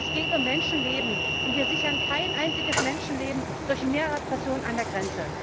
Es geht um Menschenleben, und wir sichern kein einziges Menschenleben durch mehr Repression an der Grenze.